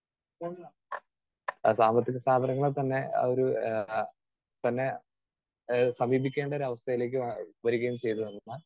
Speaker 2 സാമ്പത്തിക സ്ഥാപനങ്ങളെ തന്നെ ആ ഒരു ആഹ് തന്നെ ആഹ് സമീപിക്കേണ്ട ഒരു അവസ്ഥയിലേക്ക് വരികയും ചെയ്തു.